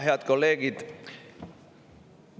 Head kolleegid!